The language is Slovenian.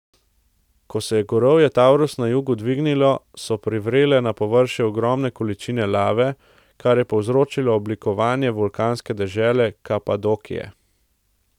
Ko se je gorovje Tavrus na jugu dvignilo, so privrele na površje ogromne količine lave, kar je povzročilo oblikovanje vulkanske dežele Kapadokije.